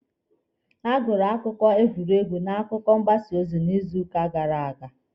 A gụrụ akụkọ egwuregwu n'akwụkwọ mgbasa ozi n'izuuka gara aga.